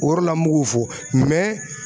O yɔrɔ la n b'u k'o fɔ